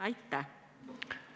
Aitäh!